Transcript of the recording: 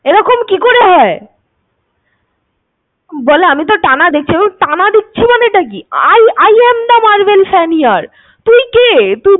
এরকম কি করে হয়? বলে আমি তো টানা দেখছি ~ টানা দেখছি মানে টা কি? I am the Marvel Fanier । তুই কে?